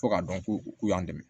Fo ka dɔn ko u k'u y'an dɛmɛ